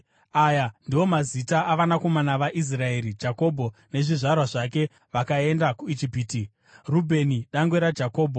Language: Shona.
Aya ndiwo mazita avanakomana vaIsraeri (Jakobho nezvizvarwa zvake) vakaenda kuIjipiti: Rubheni dangwe raJakobho.